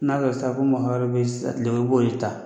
N'a kɛ sisan ko mɔgɔ wɛrɛ bɛ yen i b'o de ta